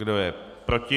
Kdo je proti?